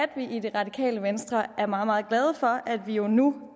vi i det radikale venstre er meget meget glade for at vi nu